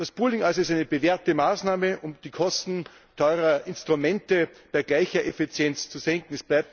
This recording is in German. Das Pooling ist also eine bewährte Maßnahme, um die Kosten teurer Instrumente bei gleicher Effizienz zu senken.